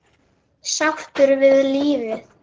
Sáttur við lífið.